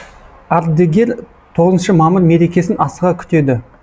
ардегер тоғызыншы мамыр мерекесін асыға күтеді